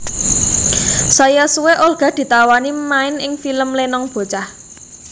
Saya suwe Olga ditawani main ing film Lenong Bocah